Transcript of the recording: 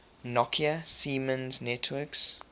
nokia siemens networks